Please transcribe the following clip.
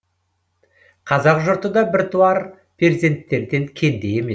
қазақ жұрты да біртуар перзенттерден кенде емес